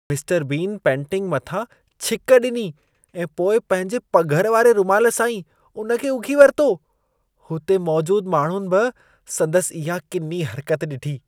Mister Bean painting मथां छिक ॾिनी ऐं पोइ पंहिंजे पघर वारे रूमाल सां ई उन खे उघी वरितो। हुते मौजूद माण्हुनि बि संदसि इहा किनी हर्कत ॾिठी।